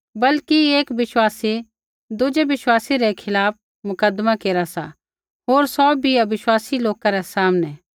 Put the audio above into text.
बल्कि एक विश्वासी दुज़ै विश्वासी रै खिलाफ़ मुकदमा केरा सा होर सौ भी अविश्वासी लोका रै सामनै